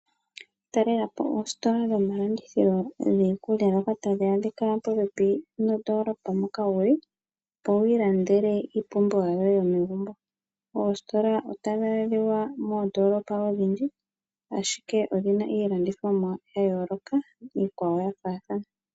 Talela po oositola dhomalandithilo giikulya ndhoka tadhi adhikwa popepi nondoolopa moka wu li, opo wiilandele iipumbiwa yoye yomegumbo. Oositola payife otadhi adhikwa moondoolopa odhindji ashike odhina iilandithomwa ya yooloka nayimwe yafaathana.